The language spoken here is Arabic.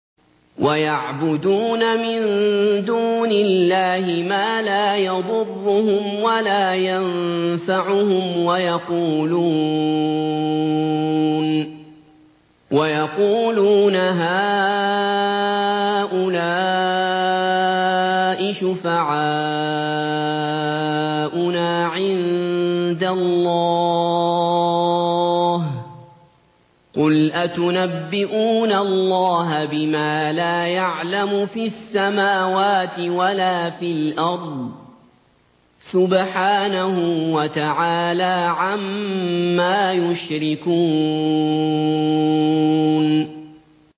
وَيَعْبُدُونَ مِن دُونِ اللَّهِ مَا لَا يَضُرُّهُمْ وَلَا يَنفَعُهُمْ وَيَقُولُونَ هَٰؤُلَاءِ شُفَعَاؤُنَا عِندَ اللَّهِ ۚ قُلْ أَتُنَبِّئُونَ اللَّهَ بِمَا لَا يَعْلَمُ فِي السَّمَاوَاتِ وَلَا فِي الْأَرْضِ ۚ سُبْحَانَهُ وَتَعَالَىٰ عَمَّا يُشْرِكُونَ